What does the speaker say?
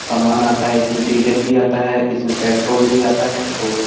समान आता है। इसमें डीजल भी आता है। इसमें पेट्रोल भी आता है औ --